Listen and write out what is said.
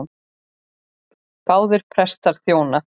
Báðir prestar þjóna.